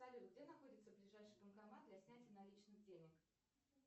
салют где находится ближайший банкомат для снятия наличных денег